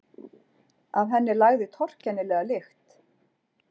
Af henni lagði torkennilega lykt.